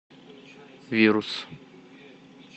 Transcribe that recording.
вирус